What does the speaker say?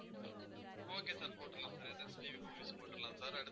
okay sir போட்டுறலாம் sir next movies போட்டுறலாம் sir அடுத்து